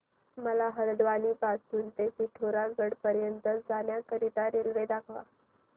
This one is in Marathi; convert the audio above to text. मला हलद्वानी पासून ते पिठोरागढ पर्यंत जाण्या करीता रेल्वे दाखवा